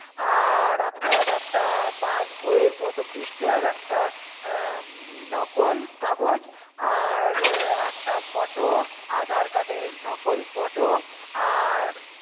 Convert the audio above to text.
আর আপনার একটা Pass বইয়ের প্রথম পৃষ্ঠার একটা নকল কাগজ আর একটা photo, Aadhar card এর নকল photo আর